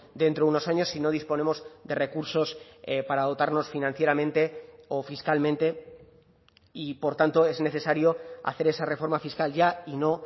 dentro de unos años si no disponemos de recursos para dotarnos financieramente o fiscalmente y por tanto es necesario hacer esa reforma fiscal ya y no